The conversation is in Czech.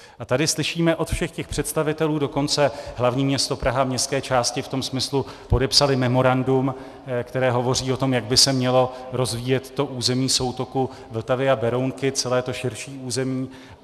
A tady slyšíme od všech těch představitelů, dokonce hlavní město Praha, městské části v tom smyslu podepsaly memorandum, které hovoří o tom, jak by se mělo rozvíjet to území soutoku Vltavy a Berounky, celé to širší území.